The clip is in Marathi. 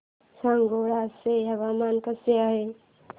सांगोळा चं हवामान कसं आहे